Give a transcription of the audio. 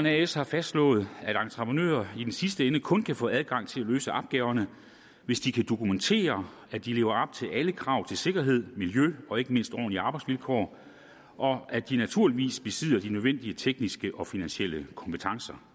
as har fastslået at entreprenører i den sidste ende kun kan få adgang til at løse opgaverne hvis de kan dokumentere at de lever til alle krav til sikkerhed miljø og ikke mindst ordentlige arbejdsvilkår og at de naturligvis besidder de nødvendige tekniske og finansielle kompetencer